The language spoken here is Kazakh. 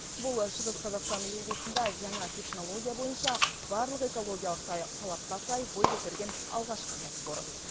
бұл шығыс қазақстан облысында жаңа технология бойынша барлық экологиялық талапқа сай бой көтерген алғашқы кәсіпорын